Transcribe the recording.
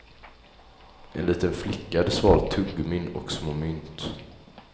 En liten flicka hade svalt tuggummin och små mynt.